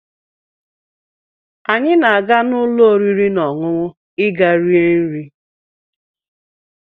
Anyị na-aga n'ụlọ oriri na ọṅụṅụ ịga rie nri